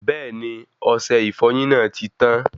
Bẹẹni, ọsẹ ìfọyín náà ti tán